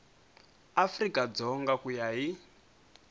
afrika dzonga ku ya hi